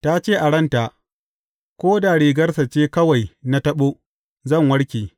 Ta ce a ranta, Ko da rigarsa ce kawai na taɓo, zan warke.